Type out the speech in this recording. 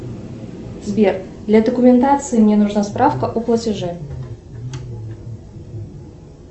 сбер для документации мне нужна справка о платеже